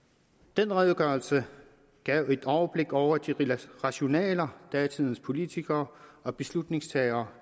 den redegørelse gav et overblik over de rationaler datidens politikere og beslutningstagere